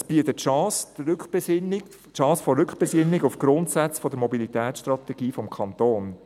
Es bietet die Chance der Rückbesinnung auf die Grundsätze der Mobilitätsstrategie des Kantons: